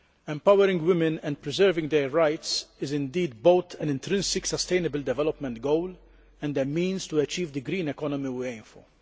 Empowering women and preserving their rights is indeed both an intrinsic sustainable development goal and a means to achieve the green economy we aim for.